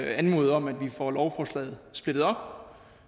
anmode om at vi får lovforslaget splittet op